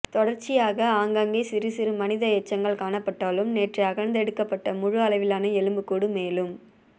தொடர்சியாக ஆங்காங்கே சிறு சிறு மனித எச்சங்கள் காணப்பட்டாலும் நேற்று அகழ்ந்தெடுக்கப்பட்ட முழு அளவிலான எலும்பு கூடு மேலும்